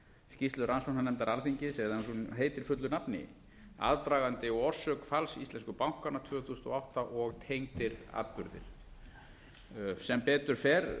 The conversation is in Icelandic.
skýrslu rannsóknarnefndar alþingis eða eins og hún heitir fullu nafni aðdragandi og orsök falls íslensku bankanna tvö þúsund og átta og tengdir atburðir sem betur fer